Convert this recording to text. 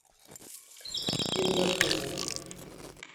инна кузина